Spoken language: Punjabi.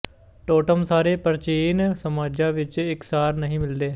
ਟੋਟਮ ਸਾਰੇ ਪ੍ਰਾਚੀਨ ਸਮਾਜਾਂ ਵਿਚ ਇਕਸਾਰ ਨਹੀਂ ਮਿਲਦੇ